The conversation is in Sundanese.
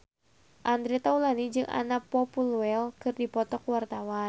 Andre Taulany jeung Anna Popplewell keur dipoto ku wartawan